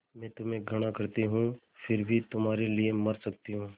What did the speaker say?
मैं तुम्हें घृणा करती हूँ फिर भी तुम्हारे लिए मर सकती हूँ